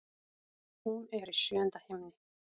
Hún er í sjöunda himni.